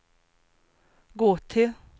gå till